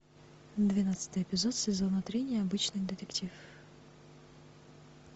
двенадцатый эпизод сезона три необычный детектив